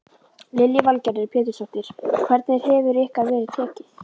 Lillý Valgerður Pétursdóttir: Hvernig hefur ykkur verið tekið?